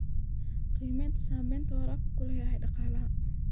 Qiimaynta saamaynta waraabku ku leeyahay dhaqaalaha.